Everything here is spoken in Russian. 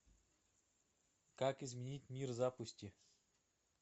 как изменить мир запусти